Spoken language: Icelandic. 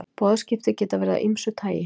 boðskipti geta verið af ýmsu tagi